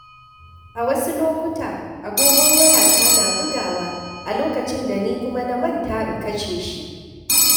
A wasu lokuta, agogon wayata na bugawa, a lokacin da ni kuma na manta in kashe shi.